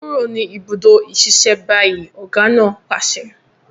Kúrò ní ìbùdó ìṣiṣẹ́ báyìí! ọ̀gá náà pàṣẹ.